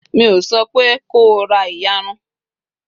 mi o sope ko ra iyarun!